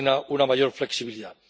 una mayor flexibilidad.